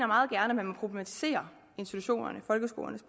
meget gerne må problematisere institutionernes folkeskolernes